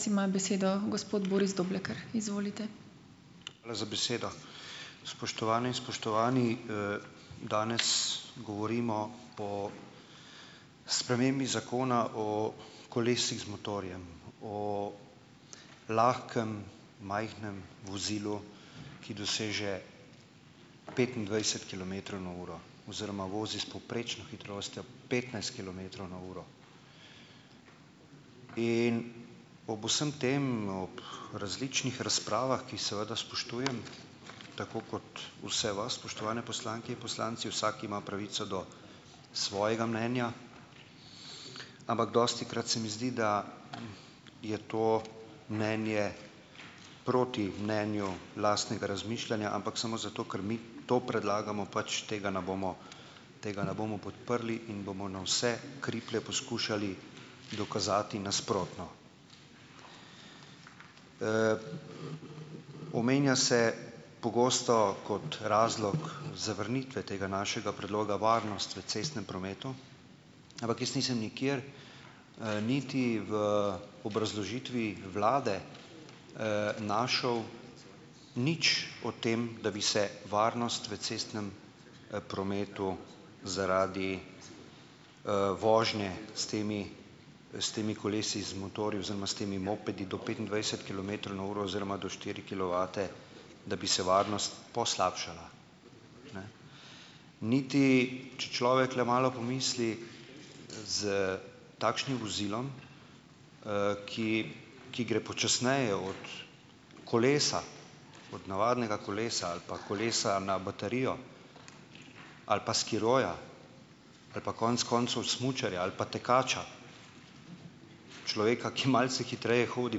Hvala za besedo. Spoštovane, spoštovani! Danes govorimo po spremembi zakona o kolesih z motorjem, oo lahkem, majhnem vozilu, ki doseže petindvajset kilometrov na uro oziroma vozi s povprečno hitrostjo petnajst kilometrov na uro in ob vsem tem, ob različnih razpravah, ki jih seveda spoštujem, tako kot vse vas, spoštovani poslanke in poslanci. Vsak ima pravico do svojega mnenja, ampak dostikrat se mi zdi, da je to mnenje proti mnenju lastnega razmišljanja, ampak samo zato, ker mi to predlagamo, pač tega na bomo, tega ne bomo podprli in bomo na vse kriplje poskušali dokazati nasprotno. Omenja se pogosto, kot razlog zavrnitve tega našega predloga varnost v cestnem prometu, ampak jaz nisem nikjer, niti v obrazložitvi vlade, našel nič o tem, da bi se varnost v cestnem, prometu zaradi, vožnje s temi, s temi kolesi z motorji oziroma s temi mopedi do petindvajset kilometrov na uro oziroma do štiri kilovate, da bi se varnost poslabšala. Niti če človek le malo pomisli, s takšnim vozilom, ki gre počasneje od kolesa, od navadnega kolesa ali pa kolesa na baterijo ali pa skiroja, ali pa konec koncev smučarja ali pa tekača, človeka, ki malce hitreje hodi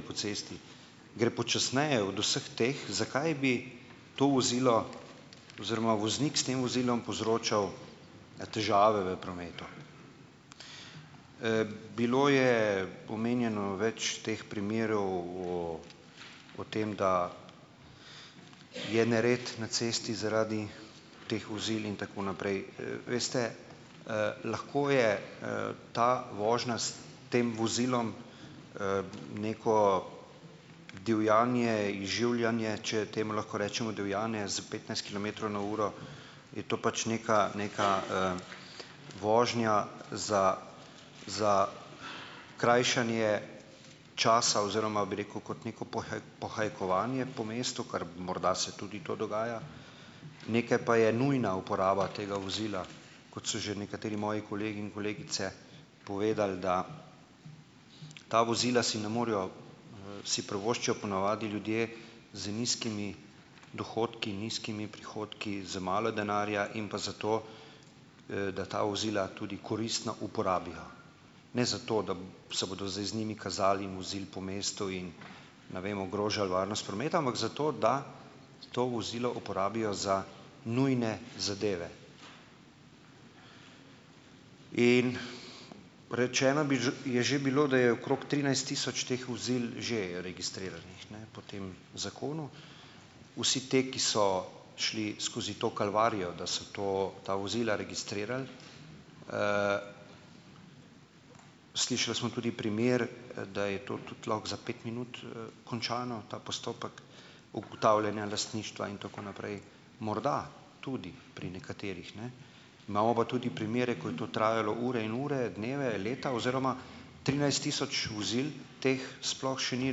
po cesti, gre počasneje od vseh teh, zakaj bi to vozilo oziroma voznik s tem vozilom povzročal težave v prometu? Bilo je omenjeno več teh primerov o o tem, da je nered na cesti zaradi teh vozil in tako naprej. Veste, lahko je ta vožnja s tem vozilom neko divjanje, izživljanje, če temu lahko rečemo divjanje s petnajst kilometrov na uro, je to pač neka neka, vožnja za krajšanje časa oziroma, bi rekel, kot neko pohajkovanje po mestu, ker morda se tudi to dogaja, nekaj pa je nujna uporaba tega vozila, kot so že nekateri moji kolegi in kolegice povedali, da ta vozila si ne morejo, si privoščijo po navadi ljudje z nizkimi dohodki, nizkimi prihodki, z malo denarja, in pa zato, da ta vozila tudi koristno uporabijo. Ne zato, da se bodo zdaj z njimi kazali in vozili po mestu in, ne vem, ogrožali varnost prometa, ampak zato, da to vozilo uporabijo za nujne zadeve. In rečeno bi že je že bilo, da je okrog trinajst tisoč teh vozil že registriranih, ne, po tem zakonu. Vsi te, ki so šli skozi to kalvarijo, da so to, ta vozila registrirali. Slišali smo tudi primer, da je to tudi lahko za pet minut, končano, ta postopek ugotavljanja lastništva in tako naprej. Morda tudi pri nekaterih, ne. Imamo pa tudi primere, ko je to trajalo ure in ure, dneve, leta oziroma trinajst tisoč vozil teh sploh še ni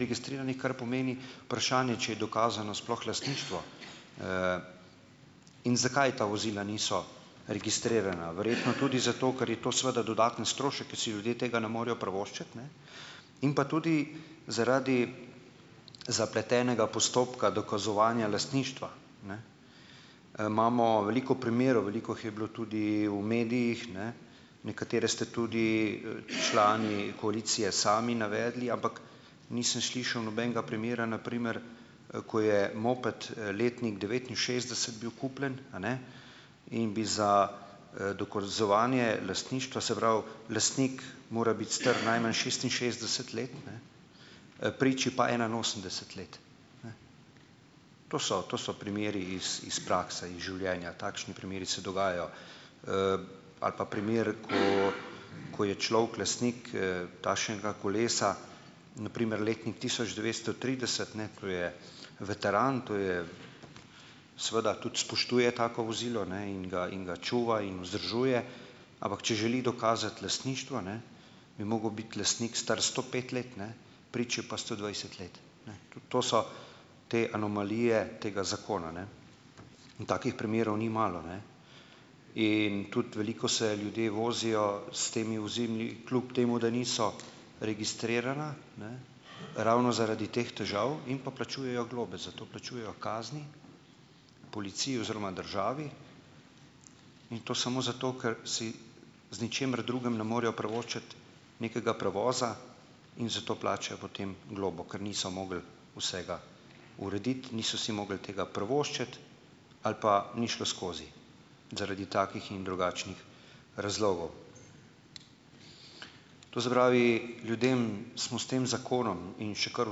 registriranih, kar pomeni vprašanje, če je dokazano sploh lastništvo, in zakaj ta vozila niso registrirana? Verjetno tudi zato, ker je to seveda dodaten strošek, ki si ljudje tega ne morejo privoščiti, ne, in pa tudi zaradi zapletenega postopka dokazovanja lastništva. Imamo veliko primerov, veliko jih je bilo tudi v medijih, ne, nekatere ste tudi, člani koalicije sami navedli, ampak, nisem slišal nobenega primera, na primer, ko je moped, letnik devetinšestdeset bil kupljen, a ne, in bi za, dokazovanje lastništva, se pravi, lastnik mora biti star najmanj šestinšestdeset let, priči pa enainosemdeset let. To so to so primeri iz iz prakse, iz življenja. Takšni primeri se dogajajo. Ali pa primer, ko ko je človek lastnik, takšnega kolesa, na primer letnik tisoč devetsto trideset, ne, to je veteran, to je, seveda tudi spoštuje tako vozilo, ne, in ga in ga čuva in vzdržuje, ampak če želi dokazati lastništvo, ne, bi mogel biti lastnik star sto pet let, ne, priči pa sto dvajset let, ne, tudi to so te anomalije tega zakona, ne, in takih primerov ni malo, ne, in tudi veliko se ljudje vozijo s temi vozili, kljub temu da niso registrirana, ne, ravno zaradi teh težav in pa plačujejo globe, za to plačujejo kazni policiji oziroma državi, in to samo zato, ker si z ničimer drugim ne morejo privoščiti nekega prevoza in zato plačajo potem globo, ker niso mogli vsega urediti, niso si mogli tega privoščiti ali pa ni šlo skozi zaradi takih in drugačnih razlogov. To se pravi, ljudem smo s tem zakonom, in še kar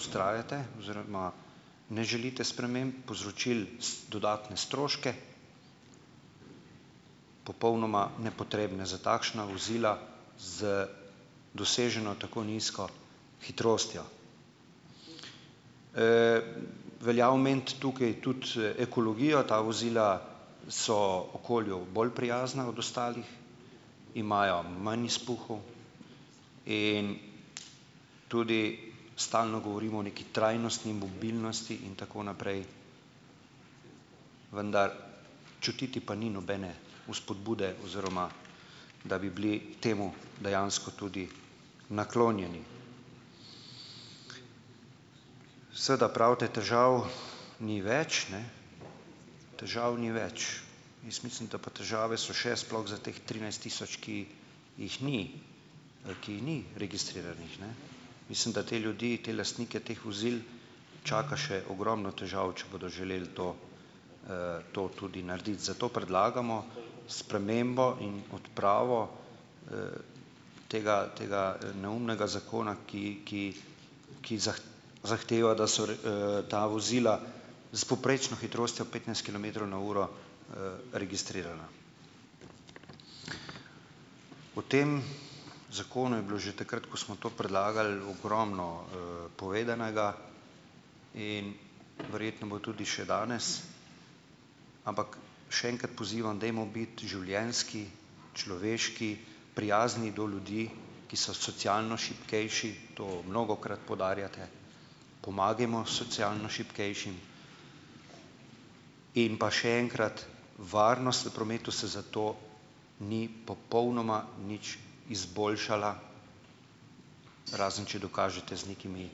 vztrajate oziroma ne želite sprememb, povzročili dodatne stroške, popolnoma nepotrebne za takšna vozila z doseženo tako nizko hitrostjo. Velja omeniti tukaj tudi, ekologijo, ta vozila so okolju bolj prijazna od ostalih, imajo manj izpuhov in tudi stalno govorimo o neki trajnostni mobilnosti in tako naprej, vendar čutiti pa ni nobene vzpodbude, oziroma da bi bili temu dejansko tudi naklonjeni. Seveda pravite težav ni več, ne, težav ni več, jaz mislim, da pa težave so še, sploh za teh trinajst tisoč, ki jih ni, ki jih ni registriranih, ne. Mislim, da te ljudi, te lastnike teh vozil čaka še ogromno težav, če bodo želeli to, to tudi narediti, zato predlagamo spremembo in odpravo tega tega neumnega zakona, ki ki zahteva, da so ta vozila s povprečno hitrostjo petnajst kilometrov na uro, registrirana. O tem zakonu je bilo že takrat, ko smo to predlagali, ogromno, povedanega in verjetno bo tudi še danes, ampak še enkrat pozivam, dajmo biti življenjski, človeški, prijazni do ljudi, ki so socialno šibkejši, to mnogokrat poudarjate, pomagajmo socialno šibkejšim in pa še enkrat varnost v prometu se zato ni popolnoma nič izboljšala, razen če dokažete z nekimi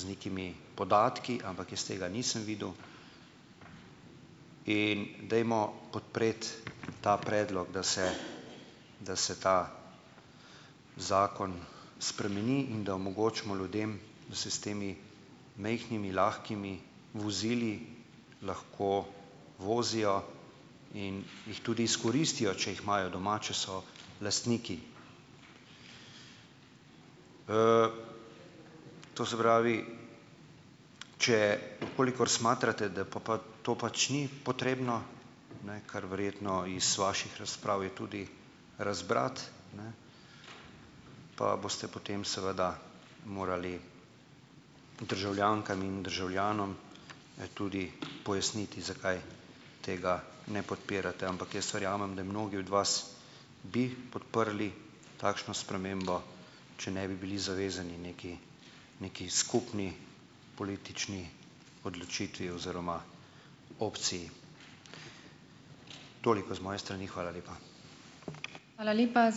z nekimi podatki, ampak jaz tega nisem videl, in dajmo podpreti ta predlog, da se, da se ta zakon spremeni in da omogočimo ljudem, da se s temi majhnimi, lahkimi vozili lahko vozijo in jih tudi izkoristijo, če jih imajo doma, če so lastniki. To se pravi, če kolikor smatrate, da pol pa to pač ni potrebno, ne kar verjetno iz vaših razprav je tudi razbrati, pa boste potem seveda morali državljankam in državljanom, tudi pojasniti, zakaj tega ne podpirate, ampak jaz verjamem, da mnogi od vas bi podprli takšno spremembo, če ne bi bili zavezani neki, neki skupni politični odločitvi oziroma opciji. Toliko z moje strani, hvala lepa.